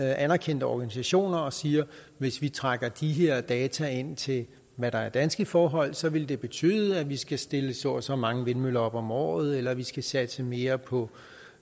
anerkendte organisationer og siger hvis vi trækker de her data ind til hvad der er danske forhold så vil det betyde at vi skal stille så og så mange vindmøller op om året eller at vi skal satse mere på